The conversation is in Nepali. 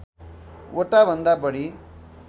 वटा भन्दा बढी